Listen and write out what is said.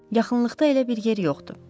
Yaxınlıqda elə bir yer yoxdur.